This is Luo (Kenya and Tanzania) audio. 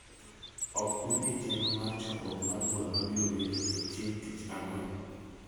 ok un e chenro mar chokruok mar bura ma biro bedo e chieng' tich ang’wen.